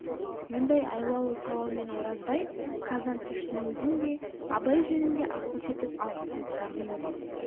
мұндай айлалы сауалмен оразбай казанцевтің өзін де абай жөнінде ақылшы етіп алғысы келгендей